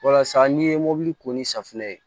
Walasa n'i ye mobili ko ni safunɛ ye